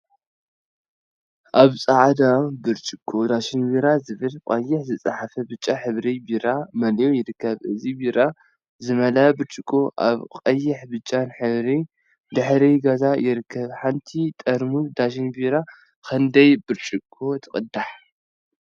አብ ፃዕዳ ብርጭቆ ዳሽን ቢራ ዝብል ብቀይሕ ዝተፀሓፈ ብጫ ሕብሪ ቢራ መሊኡ ይርከብ፡፡ እዚ ቢራ ዝመልአ ብርጭቆ አበ ቀይሕን ብጫን ሕብሪ ድሕረ ገፅ ይርከብ፡፡ ሓንቲ ጠርሙዝ ዳሽን ቢራ ክንደይ ብርጭቆ ትቅዳሕ?